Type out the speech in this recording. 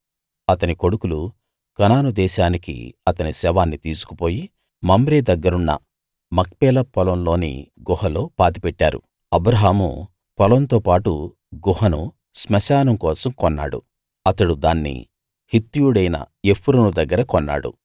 అతని కొడుకులు కనాను దేశానికి అతని శవాన్ని తీసుకుపోయి మమ్రే దగ్గరున్న మక్పేలా పొలంలోని గుహలో పాతిపెట్టారు అబ్రాహాము పొలంతో పాటు గుహను శ్మశానం కోసం కొన్నాడు అతడు దాన్ని హిత్తీయుడైన ఎఫ్రోను దగ్గర కొన్నాడు